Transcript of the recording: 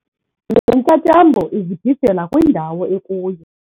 Le ntyatyambo izibhijela kwindawo ekuyo.